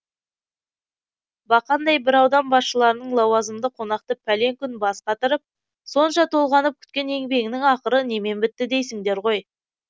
бақандай бір аудан басшыларының лауазымды қонақты пәлен күн бас қатырып сонша толғанып күткен еңбегінің ақыры немен бітті дейсіңдер ғой